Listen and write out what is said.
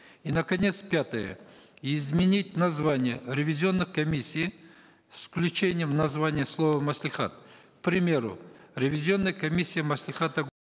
и наконец пятое изменить название ревизионных комиссий с включением названий слова маслихат к примеру ревизионная комиссия маслихата